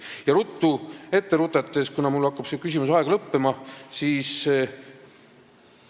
Ja ruttu ette rutates, kuna mul hakkab see küsimuse aeg lõppema, siis ...